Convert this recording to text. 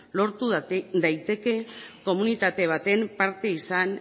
lortu daiteke komunitate baten parte izan